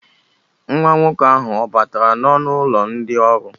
Nwa nwoke ahụ ọ batara n'ọnụ ụlọ ndị ọrụ?